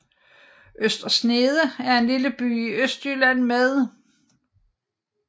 Øster Snede er en lille by i Østjylland med